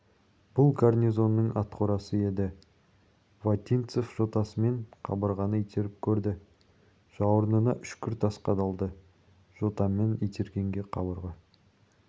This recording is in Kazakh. бұл гарнизонның атқорасы еді вотинцев жотасымен қабырғаны итеріп көрді жауырынына үшкір тас қадалды жотамен итергенге қабырға